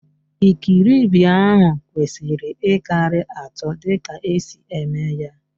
Ikiribi ahụ kwesiri ịkarị atọ dịka esi eme ya.